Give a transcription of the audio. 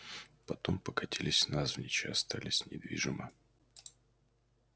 потом покатились навзничь и остались недвижима